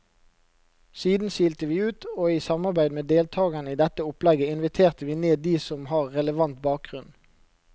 Siden silte vi ut, og i samarbeid med deltagerne i dette opplegget inviterte vi ned de som har relevant bakgrunn.